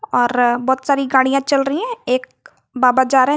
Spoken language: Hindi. और बहुत सारी गाड़ियां चल रही हैं एक बाबा जा रहे हैं।